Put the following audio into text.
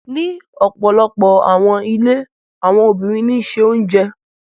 Ni ọpọlọpọ awọn ilé awọn obinrin ní se oúnjẹ.